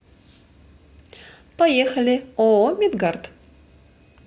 поехали ооо медгард